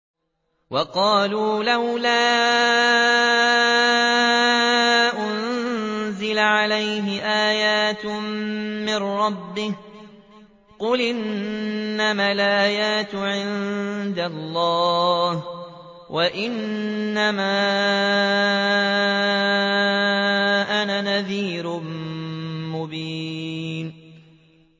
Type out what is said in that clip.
وَقَالُوا لَوْلَا أُنزِلَ عَلَيْهِ آيَاتٌ مِّن رَّبِّهِ ۖ قُلْ إِنَّمَا الْآيَاتُ عِندَ اللَّهِ وَإِنَّمَا أَنَا نَذِيرٌ مُّبِينٌ